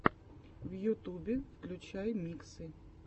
в ютюбе включай миксы